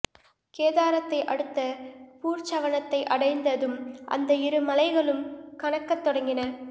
கேதாரத்தை அடுத்த பூர்ச்சவனத்தை அடைந்த தும் அந்த இரு மலைகளும் கனக்கத் தொடங்கின